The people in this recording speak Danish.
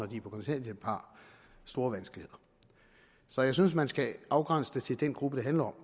de er på kontanthjælp har store vanskeligheder så jeg synes man skal afgrænse det til den gruppe det handler